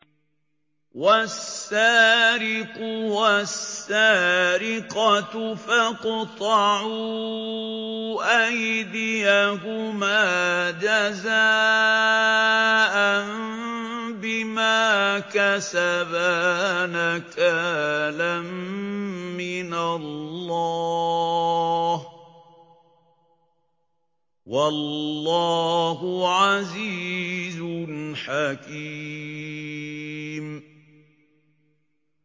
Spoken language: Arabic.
وَالسَّارِقُ وَالسَّارِقَةُ فَاقْطَعُوا أَيْدِيَهُمَا جَزَاءً بِمَا كَسَبَا نَكَالًا مِّنَ اللَّهِ ۗ وَاللَّهُ عَزِيزٌ حَكِيمٌ